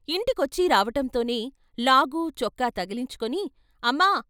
ఇంటికొచ్చీ రావటంతోనే లాగూ చొక్కా తగిలించుకుని "అమ్మా!...